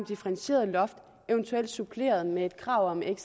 differentieret loft evt suppleret med et krav om et